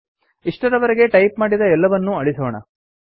ಇಷ್ಟರವರೆಗೆ type ಮಾಡಿದ ಎಲ್ಲವನ್ನೂ ಅಳಿಸೋಣ